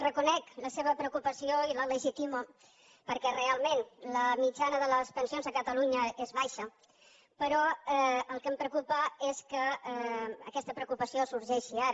reconec la seva preocupació i la legitimo perquè realment la mitjana de les pensions a catalunya és baixa però el que em preocupa és que aquesta preocupació sorgeixi ara